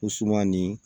O suman nin